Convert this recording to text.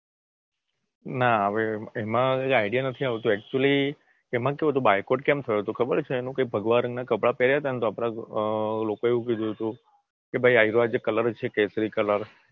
ના હવે એમાં આઈડિયા નથી આવતો અક્ચુયલી એમાં કેવું હતું બોયકોટ કેમ થયોતો ખબર છે એનું કે ભાગવા રંગના કપડાં પહેર્યતાને તો લોકોએ એવું કહ્યું તું કે ભાઈ આવ્યો જે કલર છે કેસરી કલર